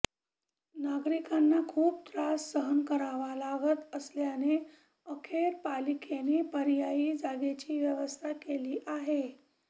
नागरिकांना खूप त्रास सहन करावा लागत असल्याने अखेर पालिकेने पर्यायी जागेची व्यवस्था केली आहे